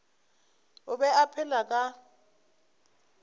o be a phela ka